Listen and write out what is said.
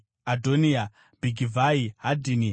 Adhoniya, Bhigivhai, Hadhini,